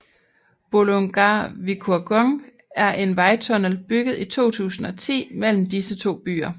Bolungarvíkurgöng er en vejtunnel bygget i 2010 mellem disse to byer